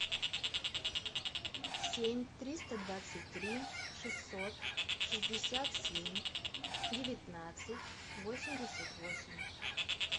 семь триста двадцать три шестьсот шестьдесят семь девятнадцать восемьдесят восемь